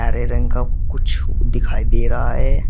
हरे रंग का कुछ दिखाई दे रहा है।